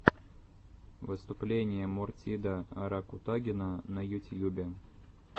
выступление мортида ракутагина на ютьюбе